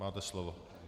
Máte slovo.